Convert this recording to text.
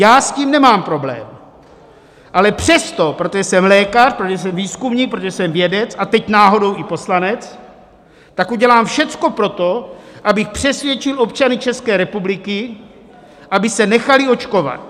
Já s tím nemám problém, ale přesto, protože jsem lékař, protože jsem výzkumník, protože jsem vědec a teď náhodou i poslanec, tak udělám všecko pro to, abych přesvědčil občany České republiky, aby se nechali očkovat.